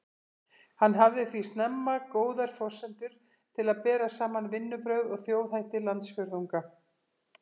Hann hafði því snemma góðar forsendur til að bera saman vinnubrögð og þjóðhætti landsfjórðunga.